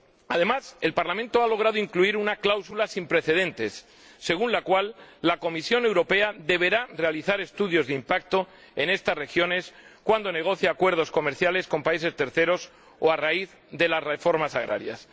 Además, el Parlamento ha logrado incluir una cláusula sin precedentes, según la cual la Comisión Europea deberá realizar estudios de impacto en estas regiones cuando negocie acuerdos comerciales con terceros países o a raíz de las reformas agrarias.